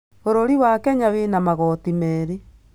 Bũrũri wa Kenya wĩna magoti merĩ.